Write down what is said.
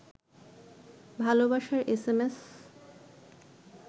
ভালবাসার এসএমএস